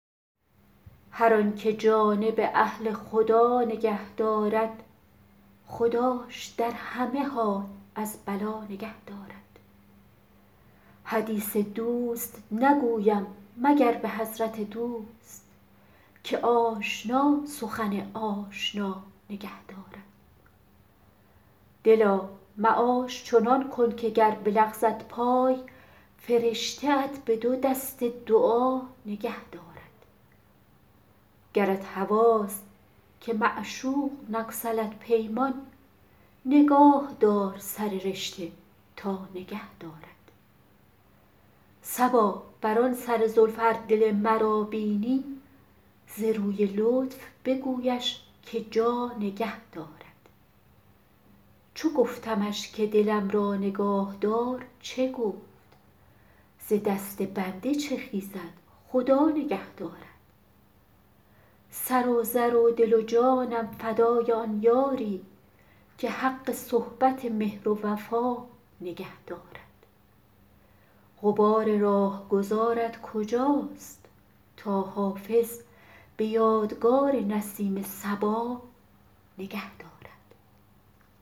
هر آن که جانب اهل خدا نگه دارد خداش در همه حال از بلا نگه دارد حدیث دوست نگویم مگر به حضرت دوست که آشنا سخن آشنا نگه دارد دلا معاش چنان کن که گر بلغزد پای فرشته ات به دو دست دعا نگه دارد گرت هواست که معشوق نگسلد پیمان نگاه دار سر رشته تا نگه دارد صبا بر آن سر زلف ار دل مرا بینی ز روی لطف بگویش که جا نگه دارد چو گفتمش که دلم را نگاه دار چه گفت ز دست بنده چه خیزد خدا نگه دارد سر و زر و دل و جانم فدای آن یاری که حق صحبت مهر و وفا نگه دارد غبار راهگذارت کجاست تا حافظ به یادگار نسیم صبا نگه دارد